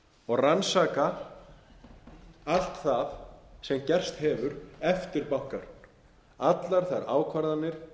og rannsaka allt það sem gerst hefur eftir bankahrun allar þær ákvarðanir